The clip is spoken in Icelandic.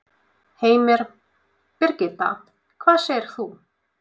Heimir: Birgitta, hvað segir þú?